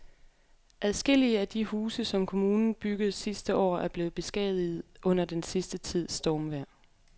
Adskillige af de huse, som kommunen byggede sidste år, er blevet beskadiget under den sidste tids stormvejr.